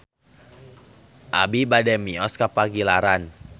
Abi bade mios ka Pagilaran